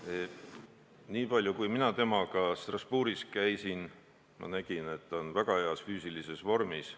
Nii palju ma tean, et kui mina temaga Strasbourgis käisin, siis ma nägin, et ta on väga heas füüsilises vormis.